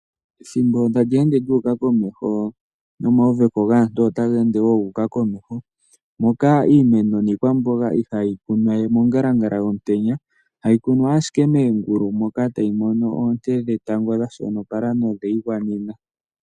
Ethimbo sho tali ende lyu uka komeho nomawuveko gaantu otaga ende gu uka komeho. Moka iimeno niikwamboga ihayi kunwa we mongalangala yomutenya ,hayi kunwa ashike moongulu moka tayi mono oonte dhetango dha shonopala nodhe yi gwanena.